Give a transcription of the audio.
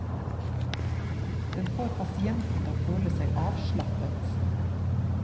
Den får pasienten til å føle seg avslappet.